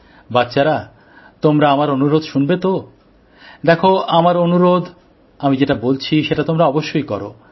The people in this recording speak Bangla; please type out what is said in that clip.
বাচ্চারা তোমরা আমার অনুরোধ শুনবে তো দেখো আমার অনুরোধ আমি যেটা বলছি সেটা তোমরা অবশ্যই কোরো